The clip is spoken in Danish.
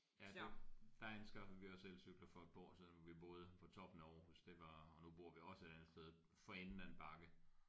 Ja det der anskaffede vi os elcykler for et par år siden hvor vi boede på toppen af Aarhus det var og nu bor vi også et andet sted for enden af en bakke